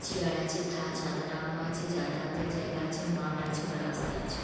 Chair আছে থা ছাতা টাঙানো আছে যাতায়াতের জায়গা আছে মাঠ আছে বা রাস্তা আছে।